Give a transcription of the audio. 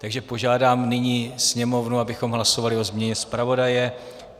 Takže požádám nyní Sněmovnu, abychom hlasovali o změně zpravodaje.